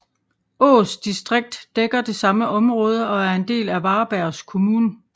Ås distrikt dækker det samme område og er en del af Varbergs kommun